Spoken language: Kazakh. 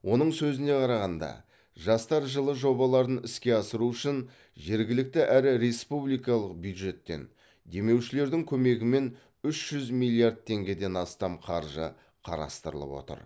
оның сөзіне қарағанда жастар жылы жобаларын іске асыру үшін жергілікті әрі республикалық бюджеттен демеушілердің көмегімен үш жүз миллиард теңгеден астам қаржы қарастырылып отыр